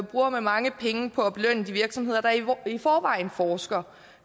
bruger man mange penge på at belønne de virksomheder der i forvejen forsker